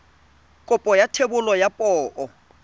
kopo ya thebolo ya poo